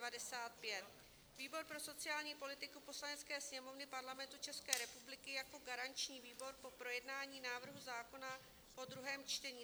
"Výbor pro sociální politiku Poslanecké sněmovny Parlamentu České republiky jako garanční výbor po projednání návrhu zákona po druhém čtení: